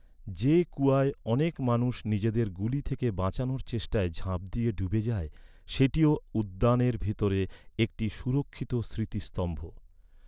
যে কুয়ায় অনেক মানুষ নিজেদের গুলি থেকে বাঁচানোর চেষ্টায় ঝাঁপ দিয়ে ডুবে যায়, সেটিও উদ্যানের ভিতরে একটি সুরক্ষিত স্মৃতিস্তম্ভ।